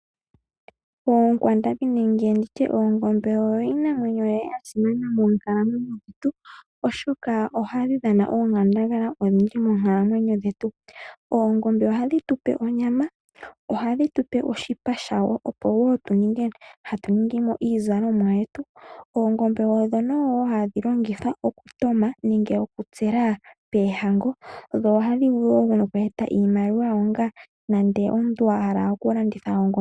Oonkwandambi nenge nditye oongombe oyo iinamwenyo ya simana mokunkalamwenyo kwetu oshoka ohadhi dhana oonkandangala odhindji moonkalamwenyo dhetu. Oongombe ohadhi tupe onyama, ohadhi tupe oshipa shawo opo wo ninge hatu ningimo iizalomwa yetu. Oongombe odho nowoo hadhi longithwa okutoma nenge oku tsela peehango, dho ohadhi vulu woo nokweeta iimaliwa onga nande omuntu a hala oku landitha ongombe.